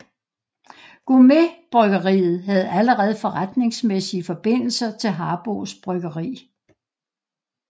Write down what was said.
GourmetBryggeriet havde allerede forretningsmæssige forbindelser til Harboes Bryggeri